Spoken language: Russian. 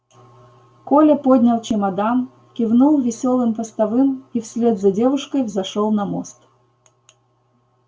коля поднял чемодан кивнул весёлым постовым и вслед за девушкой взошёл на мост